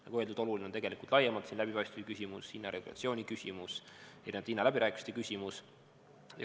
Nagu öeldud, oluline on tegelikult laiemalt see läbipaistvuse küsimus, hinnaregulatsiooni küsimus ja hinnaläbirääkimiste küsimus.